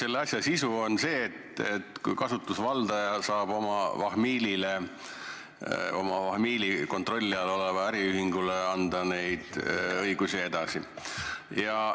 Selle asja sisu on see, et kasutusvaldaja saab oma vahmiilile või oma vahmiili kontrolli all olevale äriühingule neid õigusi edasi anda.